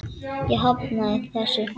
Ég hafnaði þessu.